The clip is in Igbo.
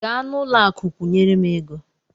Gaa n'ụlọakụ kwụnyere m ego m!